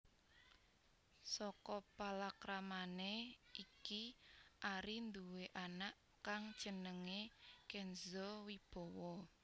Saka palakramané iki Ari nduwé anak kang jenengé Kenzo Wibowo